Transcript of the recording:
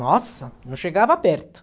Nossa, não chegava perto.